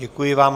Děkuji vám.